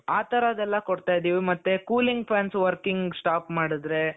ಆತರದೆಲ್ಲಾ ಕೊಡ್ತಾ ಇದ್ದೀವಿ ಮತ್ತೆ cooling fans working stop ಮಾಡುದ್ರೆ.